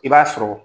I b'a sɔrɔ